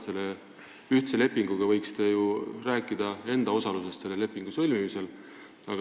Selle ühtse lepingu puhul te võiksite ju rääkida enda osalusest selle lepingu sõlmimisel.